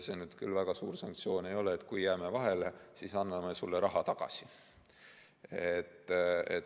See küll väga suur sanktsioon ei ole, et kui vahele jääme, siis anname sulle raha tagasi.